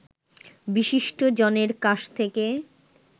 বিশিষ্ট জনের কাস থেকে